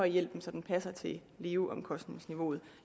hjælpen så den passer til leveomkostningsniveauet